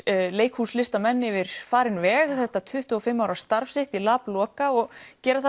leikhús listamenn yfir farinn veg þetta tuttugu og fimm ára starf sitt í lab Loka og gera það